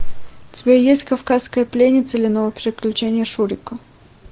у тебя есть кавказская пленница или новые приключения шурика